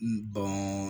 N bɔn